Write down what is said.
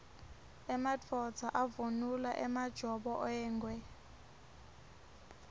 emadvodza avunula emajobo engwe